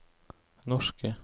norske